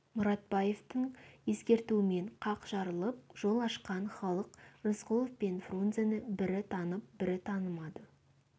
мұратбаевтың ескертуімен қақ жарылып жол ашқан халық рысқұлов пен фрунзені бірі танып бірі танымады